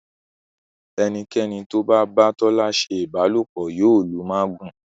Enikeni tó bá ba Tola ṣe ìbálòpọ̀ yóò lù magun.